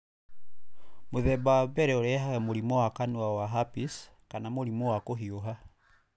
Mũthemba wa mbere ũrehage mũrimũ wa kanua wa herpes kana mũrimũwa kũhiũha.